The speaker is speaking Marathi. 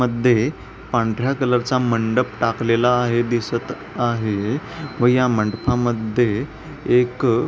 मध्ये पांढर्‍या कलरचा मंडप टाकलेला आहे दिसत आहे हे व या मंडपा मध्ये एक --